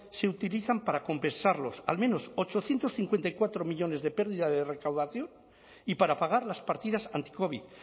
se utilizan para compensar los al menos ochocientos cincuenta y cuatro millónes de pérdida de recaudación y para pagar las partidas anticovid